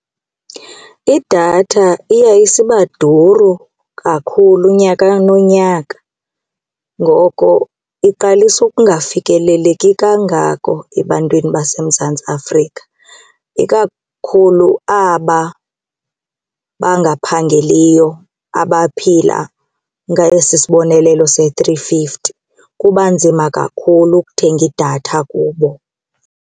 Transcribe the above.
Idatha iya isibaduru kakhulu nyaka nonyaka ngoko iqalisa ukungafikeleleki kangako ebantwini baseMzantsi Afrika ikakhulu aba bangaphangeliyo, abaphila ngesi sibonelelo se-three fifty, kuba nzima kakhulu ukuthenga idatha kubo.